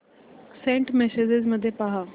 Saint messages मध्ये पहा